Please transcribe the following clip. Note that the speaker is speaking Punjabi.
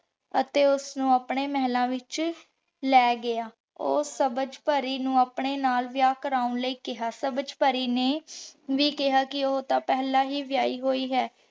ਅਤੀ ਉਸਨੁ ਅਪਨੇ ਮੇਹ੍ਲਾਂ ਵਿਚ ਲੇ ਗਯਾ ਊ ਸਬਝ ਪਾਰੀ ਨੂ ਅਪਨੇ ਨਾਲ ਵਿਯਾਹ ਕਰਨ ਲੈ ਕੇਹਾ ਸਬਝ ਪਾਰੀ ਨੇ ਵੀ ਕੇਹਾ ਕੇ ਊ ਤਾਂ ਪੇਹ੍ਲਾਂ ਵੀ ਵਿਯਾਹੀ ਹੋਈ ਆਯ